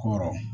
Ko yɔrɔ